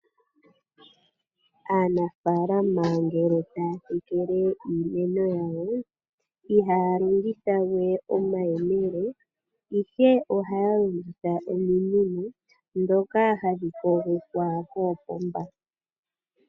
Aanafaalama ngele taya tekele iimeno yawo, ihaya longitha we omayemele, ihe ohaya longitha ominino ndhoka hadhi kogekwa koopomba.